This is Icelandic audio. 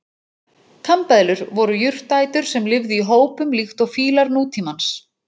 Kambeðlur voru jurtaætur sem lifðu í hópum líkt og fílar nútímans.